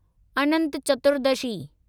Anant Chaturdashi